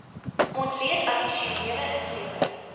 ontleed addisionele insette